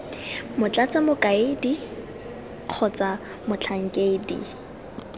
x motlatsa mokaedi x motlhankedi